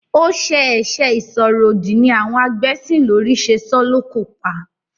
Ó ṣẹ ẹ̀sẹ ìsọ̀rọ̀-òdì ni àwọn agbẹ́sìnlórí ṣe sọ ọ́ lókò pa.